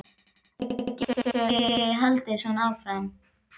Þetta getur ekki haldið svona áfram.